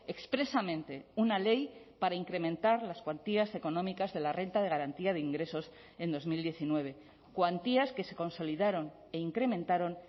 expresamente una ley para incrementar las cuantías económicas de la renta de garantía de ingresos en dos mil diecinueve cuantías que se consolidaron e incrementaron